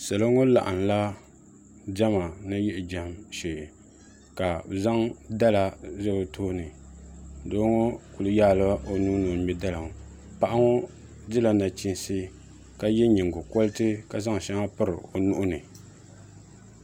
Salo ŋo laɣamla diɛma ni yiɣi jɛm shee ka bi zaŋ dala zali bi tooni doo ŋo kuli yaala o nuu ni o ŋmɛ dala ŋo paɣa ŋo dila nachiinsi ka yɛ nyingokoriti ka zaŋ shɛŋa piri o nuuni